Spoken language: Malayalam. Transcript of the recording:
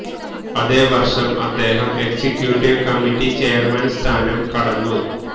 അതേ വർഷം അദ്ദേഹം എക്സിക്യൂട്ടീവ് കമ്മിറ്റി ചെയർമാൻ സ്ഥാനം കടന്നു